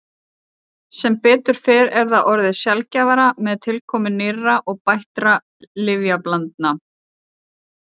Sem betur fer er það orðið sjaldgæfara með tilkomu nýrra og bættra lyfjablandna.